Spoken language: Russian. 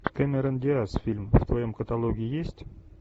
кэмерон диаз фильм в твоем каталоге есть